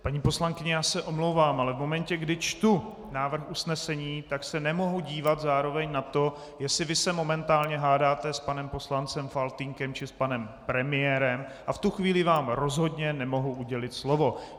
Paní poslankyně, já se omlouvám, ale v momentě, kdy čtu návrh usnesení, tak se nemohu dívat zároveň na to, jestli vy se momentálně hádáte s panem poslancem Faltýnkem či s panem premiérem, a v tu chvíli vám rozhodně nemohu udělit slovo.